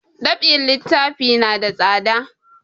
Dab'in littafi na da tsada